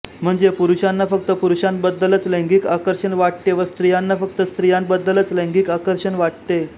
म्हणजे पुरुषांना फक्त पुरुषांबद्दलच लैंगिक आकर्षण वाटते व स्त्रियांना फक्त स्त्रियांबद्दलच लैंगिक आकर्षण वाटते